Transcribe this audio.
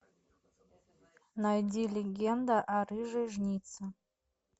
найди легенда о рыжей жнице